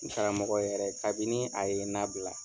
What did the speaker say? N karamɔgɔ yɛrɛ kabini a ye n nabila.